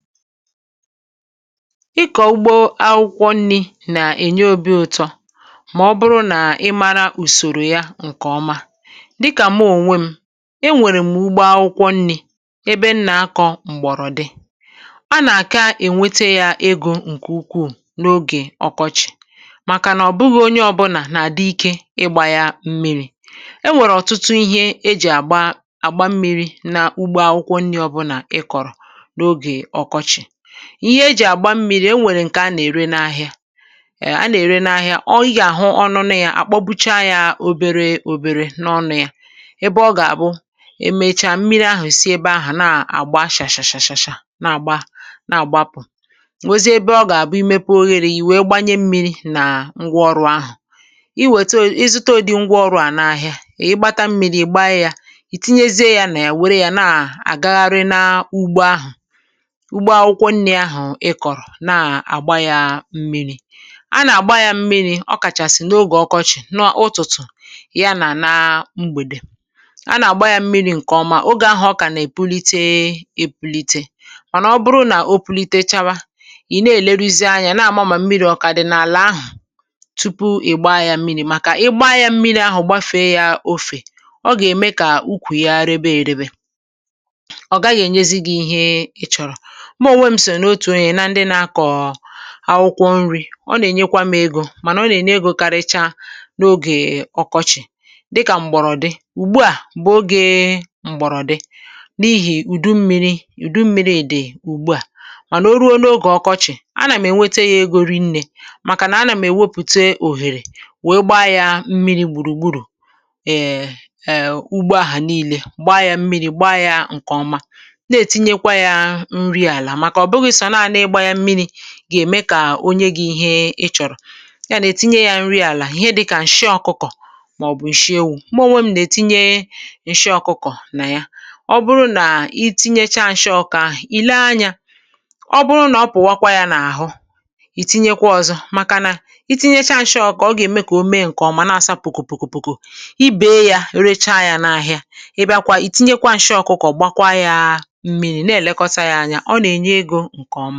Ịkọ̀ ugbo akwụkwọ nri̇ nà-ènye obi̇ ụtọ, mà ọ bụrụ nà ị maara ùsòrò ya, ǹkè ọma dịkà m̀ onwe m. Enwèrè m̀ ugbo akwụkwọ nri̇ ebe nnà akọ̇ m̀gbọ̀rọ̀dị, a nà-àka ènwete yà egȯ ǹkè ukwuù n’ogè ọkọchị̀, màkà nà ọ̀ bụghị̇ onye ọbụlà nà-àdịkị ịgbà ya mmiri̇.E nwèrè ọ̀tụtụ ihe e ji àgba mmiri̇ na ugbo akwụkwọ nri̇. Hmm… ọbụlà i kọ̀rọ̀ ihe e ji àgba mmiri̇, o nwèrè ǹkè a nà-ère n’ahịa. Ọọ̇, ị gà-àhụ ọnụ nà ya àkpọpụcha ya obere-obere n’ọnụ̇ ya, ebe ọ gà-àbụ e mechaa, mmiri ahụ̀ si ebe ahụ̀ na-àgba achà-shà-shà, na-àgba na-àgba, apụ̀ òwezie. Ebe ọ gà-àbụ i mepee oghere ì wee gbanye mmiri̇ nà ngwa ọrụ̇ ahụ̀, i wète, ehm, i zùto dị ngwa ọrụ̇ à n’ahịa. Ị gbata mmiri̇, ị̀ gbaa ya, ì tinyezie ya nà ya, wère ya nà àgaghari na ugbo ahụ̀ nà-àgba yà mmiri̇.A nà-àgba yà mmiri̇ ọ kàchàsị̀ n’ogè ọkọchị̀, n’ụtụtụ ya nà na mgbèdè. Ọ bụ ǹkè ọma, ogè ahụ̀ ọ kà nà-èbulite-ebulite. Mànà ọ bụrụ nà obulite chawa, ì ga-èleruzi anyȧ, na-àma, mà mmiri̇ ọ̀kàdị̀ na-àlà ahụ̀ tupu ị gbaa yà mmiri̇.Màkà ị gbaa yà mmiri̇ ahụ̀ gbafe yà òfè, ọ gà-ème kà okwù ya rebe-èrebe, ọ gaghị ènyezi gị̇ ihe ị chọ̀rọ̀. Ụbọ̇ m sì n’òtù ena ndị na-akọ̀ akwụkwọ nri̇, ọ nà-ènyekwa mė egȯ, mànà ọ nà-ème egȯ karịcha n’ogè ọkọchị̀.Dịkà m̀gbọ̀rọ̀ dị ùgbu à, bụ̀ oge m̀gbọ̀rọ̀ dị n’ihì ùdu mmiri̇. Ùdu mmiri̇ dị̀ ùgbu à, mànà o ruo n’ogè ọkọchị̀, a nà m ènwete yà egȯ rinne, màkà nà a nà m èwepụ òhèrè, wèe gba yà mmiri̇ gbùrù-gbùrù. Ẹ̀ẹ̀, ugbo ahụ̀ niile gba yà mmiri̇ gba yà. Ǹkè ọma na-etinyekwa yà nri àlà, gà-ème kà onye gwuo ihe ọ chọ̀rọ̀. Yà nà-ètinye nri àlà dịkà ǹshị ọkụkọ̀ màọbụ̀ ǹshị ewu̇.Mọ̀, m na-ètinye ǹshị ọkụkọ̀ nà ya. Ọ bụrụ nà i tinyekwa ǹshị ọkụkọ̀ ahụ̀, ì lee anyȧ, ọ bụrụ nà ọ pụ̀wakwa yà n’ahụ, ì tinyekwa ọ̇zọ̇, màkà na i tinyekwa ǹshị ọkụkọ̀, ọ gà-ème kà o mee ǹkè ọ̀, mà na-asapụ̀kò̀-pùkò.I bèe yà, recha yà n’ahịa ị bịakwa, ì tinyekwa ǹshị ọkụkọ̀, gbakwa yà mmiri̇, na-èlekọta yà anya. Ǹkọma.